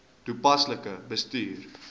toepaslik bestuur